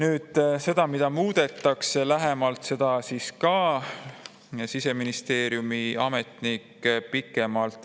Sellest, mida muudetakse, rääkis Siseministeeriumi ametnik pikemalt.